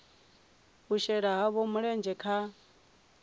u shela havho mulenzhe kha